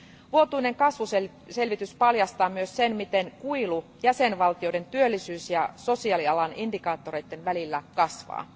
Vuotuinen kasvuselvitys paljastaa myös sen, miten kuilu jäsenvaltioiden työllisyys ja sosiaalialan indikaattoreiden välillä kasvaa.